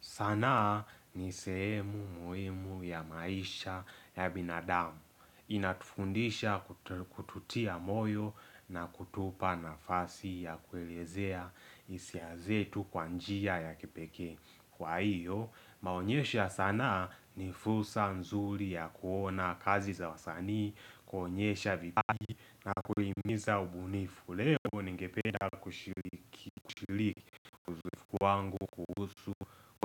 Sanaa ni sehemu muhimu ya maisha ya binadamu. Inatufundisha kututia moyo na kutupa nafasi ya kuelezea hisia zetu kwa njia ya kipekee. Kwa hiyo, inaonyesha sanaa ni fursa nzuli ya kuona kazi za wasanii, kuonyesha vipaji na kulimiza ubunifu. Leo ningependa kushiliki wangu kuhusu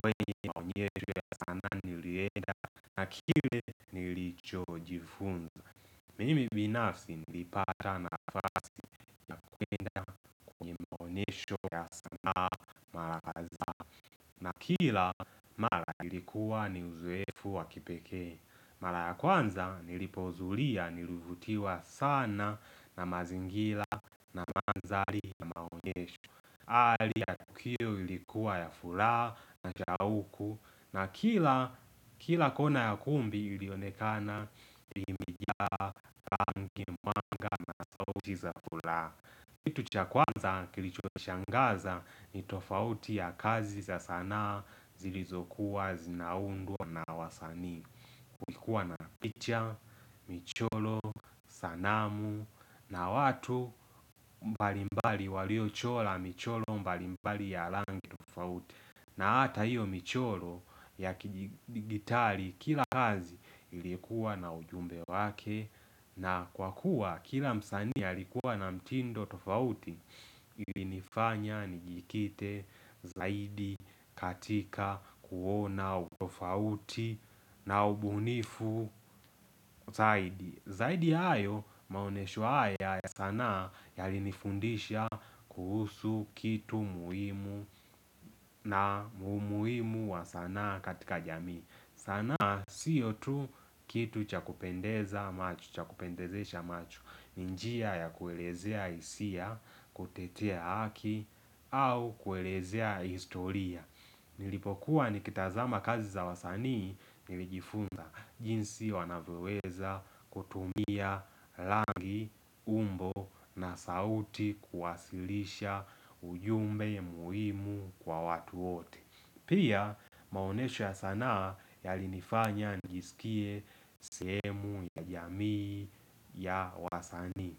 kwenye na onyesho ya sana nilienda na kile nilicho jifunza. Mimi binafsi nilipata nafasi ya kwenda kwenye na onyesho ya sanaa b mara kaza. Na kila mara ilikuwa ni uzoefu wa kipekee. Mara ya kwanza nilipoudhulia nilivutiwa sana na mazingira na mandhali ya maonyesho. Hali ya tukio ilikuwa ya furaha na shauku na kila kila kona ya kumbi ilionekana ilimijia nki mwanga za furaha kitu cha kwanza kilicho shangaza ni tofauti ya kazi za sana zilizokuwa, zinaundwa na wasanii ulikuwa na picha, michoro, sanamu na watu mbalimbali walio chora michoro mbalimbali ya rangi tofauti na hata hiyo michoro ya kidijitari Kila kazi ilikuwa na ujumbe wake na kwa kuwa kila msanii alikuwa na mtindo tofauti ilinifanya, nijikite, zaidi, katika, kuona, tofauti na ubunifu zaidi Zaidi ya hayo maonesho haya ya sanaa Yalinifundisha kuhusu kitu muhimu na umuhimu wa sanaa katika jamii sana sio tu kitu chakupendeza macho, cha kupendezesha macho ni njia ya kuelezea hisia, kutetea haki au kuelezea historia Nilipokua nikitazama kazi za wasanii nilijifunza jinsi wanavyoweza kutumia rangi, umbo na sauti kuwasilisha ujumbe muhimu kwa watu wote Pia maonesho ya sanaa yalinifanya nijisikie sehemu ya jamii ya wasanii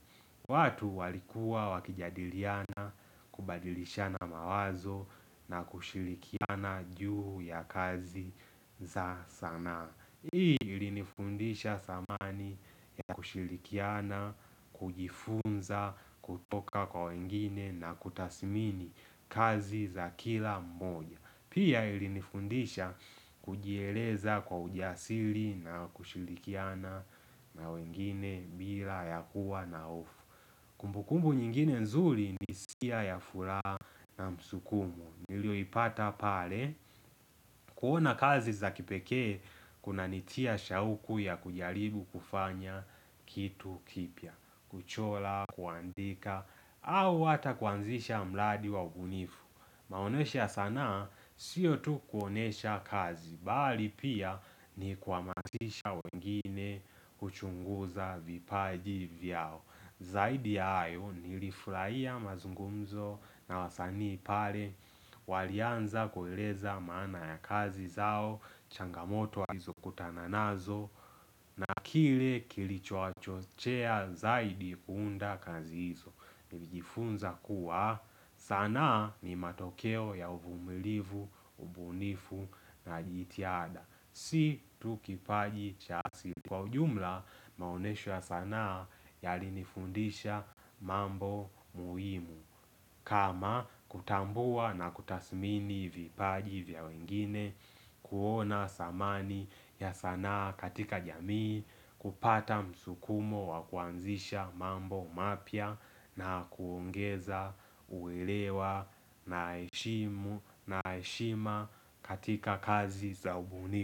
watu walikuwa wakijadiliana kubadilishana mawazo na kushirikiana juu ya kazi za sanaa Hii ilinifundisha dhamani ya kushirikiana, kujifunza, kutoka kwa wengine na kutasimini kazi za kila mmoja Pia ilinifundisha kujieleza kwa ujasiri na kushirikiana na wengine bila ya kuwa na hofu Kumbukumbu nyingine nzuri ni hisia ya furaha na msukumo Nilioipata pale, kuona kazi za kipekee, kunanitia shauku ya kujaribu kufanya kitu kipya, kuchora, kuandika, au hata kuanzisha mradi wa ubunifu. Maonesha ya sanaa, sio tu kuonesha kazi, bali pia ni kuamazisha wengine kuchunguza vipaji vyao. Zaidi ya hayo nilifurahia mazungumzo na wasanii pale Walianza kueleza maana ya kazi zao changamoto wa kazi walizo kutana nazo na kile kilicho wachochea zaidi kuunda kazi hizo Nilijifunza kuwa sana ni matokeo ya uvumilivu, ubunifu na jitiada Si tu kipaji cha Kwa ujumla maonesho ya sanaa yalinifundisha mambo muhimu kama kutambua na kutasmini vipaji vya wengine kuona dhamani ya sanaa katika jamii kupata msukumo wa kuanzisha mambo mapya na kuongeza uelewa na heshimu na heshima katika kazi za ubunifu.